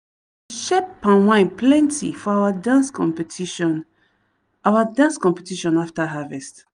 dem share palm wine plenty for our dance competition our dance competition after harvest.